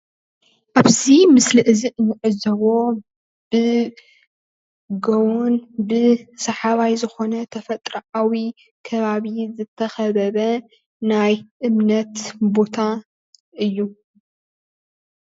ኣብዚ ምስሊ እዚ እንዕዘቦ ብጎቦን ብሰሓባይ ዝኮነ ተፈጥርኣዊ ከባቢ ዝተከበበ ናይ እምነት ቦታ እዩ